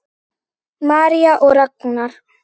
María og Ragnar.